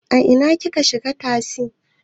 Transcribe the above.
A ina kika shiga tasi?